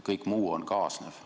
Kõik muu on kaasnev.